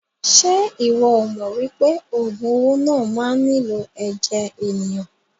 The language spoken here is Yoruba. Ṣe iwọ o mọ wípé ogun owó náà má nilo ẹ̀jẹ̀ ènìyàn?